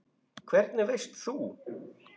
Hvernig veist þú?